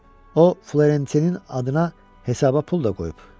O Florentinin adına hesaba pul da qoyub.